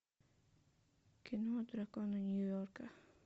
кино драконы нью йорка